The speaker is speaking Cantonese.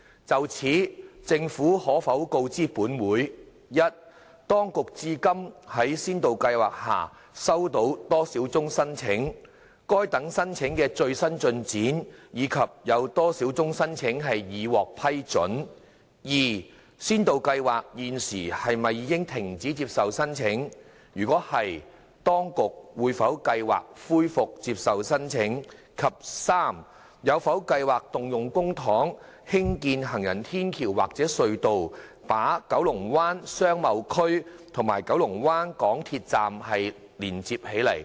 就此，政府可否告知本會：一當局至今在先導計劃下收到多少宗申請；該等申請的最新進展，以及有多少宗申請已獲批准；二先導計劃現時是否已停止接受申請；若是，當局有否計劃恢復接受申請；及三有否計劃動用公帑興建行人天橋或隧道，把九龍灣商貿區與九龍灣港鐵站連接起來？